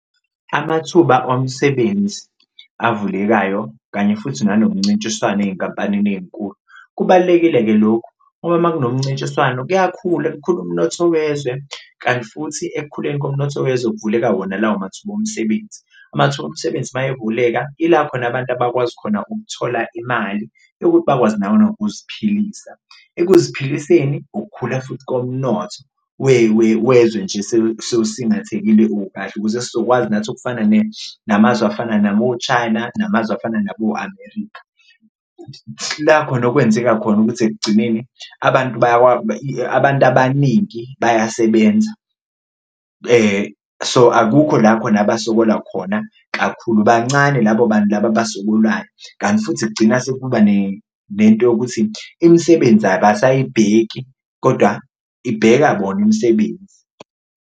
Amathuba omsebenzi avulekayo kanye futhi nanomncintiswano ey'nkampanini ey'nkulu kubalulekile-ke lokhu ngoba uma kunomncintiswano kuyakhula kukhule umnotho wezwe, kanti futhi ekukhuleni komnotho wezwe kuvuleka wona lawo mathuba omsebenzi. Amathuba omsebenzi uma evuleka ila khona abantu abakwazi khona ukuthola imali yokuthi bakwazi nabo nokuziphilisa, ekuziphiliseni ukukhula futhi komnotho wezwe nje sewusingaphathekile ukahle, ukuze sizokwazi nathi ukufana namazwe afana nabo-China namazwe afana nabo-America. La khona okwenzeka khona ukuthi ekugcineni abantu abaningi bayasebenza so, akukho la khona abasokola khona kakhulu, bancane labo bantu labo abasokolayo kanti futhi kugcina sekuba nento yokuthi imisebenzi abasayibheki kodwa ibheka bona imisebenzi.